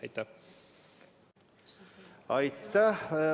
Aitäh!